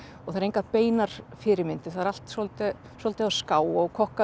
og það eru engar beinar fyrirmyndir það er allt svolítið svolítið á ská og